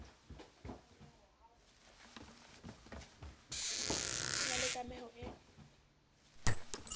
ho na le kameho e